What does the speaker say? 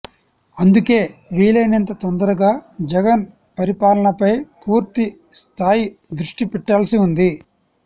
అందుకే వీలైనంత తొందరగా జగన్ పరిపాలనపై పూర్తి స్థాయి దృష్టిపెట్టాల్సి ఉంది